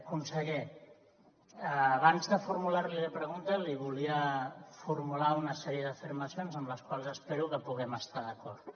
conseller abans de formular li la pregunta li volia formular una sèrie d’afirmacions amb les quals espero que puguem estar d’acord